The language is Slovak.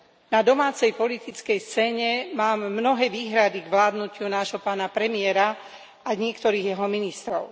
Na domácej politickej scéne mám mnohé výhrady k vládnutiu nášho pána premiéra a niektorých jeho ministrov.